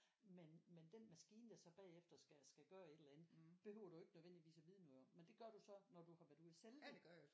Men men den maskine der så bagefter skal skal gøre et eller andet behøver du så ikke nødvendigvis at vide noget om men det gør du så når du har været ude at sælge den